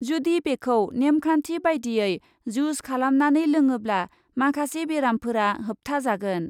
जुदि बेखौ नेमखान्थि बायदियै जुज खालामनानै लोङोब्ला माखासे बेरामफोरा होबथाजागोन।